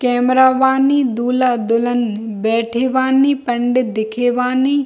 Camera बानी दूल्हा-दुल्हन बैठे बानी पंडित दिखे बानी।